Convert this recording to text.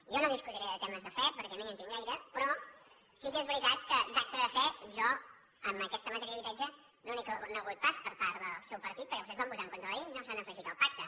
jo no discutiré de temes de fe perquè no hi entenc gaire però sí que és veritat que d’acte de fe jo en aquesta matèria d’habitatge no n’he conegut pas per part del seu partit perquè vostès van votar en contra de la llei no s’han afegit al pacte